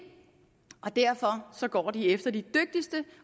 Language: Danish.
derfor går de efter de dygtigste